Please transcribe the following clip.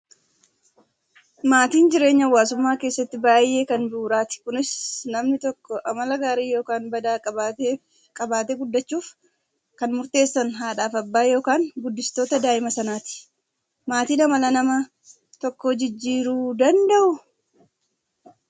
Maatiin jireenya hawaasummaa keessatti baay'ee kan bu'uuraati. Kunis namni tokko amala gaarii yookaan badaa qabatee guddachuuf kan murteessan haadhaa fi abbaa yookaan guddistoota daa'ima sanaati. Maatiin amala nama tokkoo jijjiiruu danda'uu?